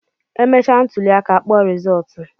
E mechaa ntụlịaka a kpọọ rizọọtụ